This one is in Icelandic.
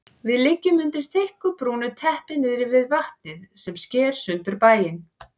Við liggjum undir þykku brúnu teppi niðri við vatnið sem sker sundur bæinn.